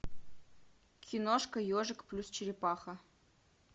киношка ежик плюс черепаха